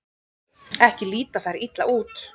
Ekki líta þær illa út.